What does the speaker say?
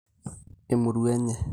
Emurua enye